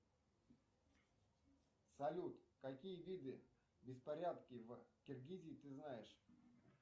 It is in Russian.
салют какие виды беспорядки в киргизии ты знаешь